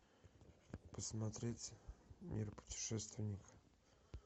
посмотреть мир путешественника